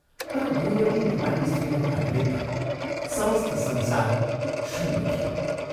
तर दुइवटी नेपाली स्त्रीहरूका निमित्त समस्त संसार शून्य थियो।